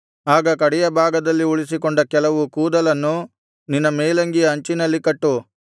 ಆಗ ಕಡೆಯ ಭಾಗದಲ್ಲಿ ಉಳಿಸಿಕೊಂಡ ಕೆಲವು ಕೂದಲನ್ನು ನಿನ್ನ ಮೇಲಂಗಿಯ ಅಂಚಿನಲ್ಲಿ ಕಟ್ಟು